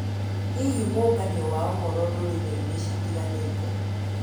Hihi mũnganio wa ũhoro ndũrĩrĩinĩ citiganĩte.